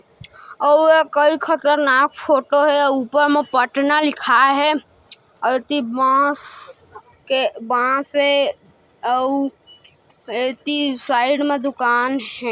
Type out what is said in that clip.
आओ केई खतरनाक फोटो हे ऊपर में पटना लिखाए हे आउ ऐति बास के बास हे आउ ऐति साइड मे दुकान हे।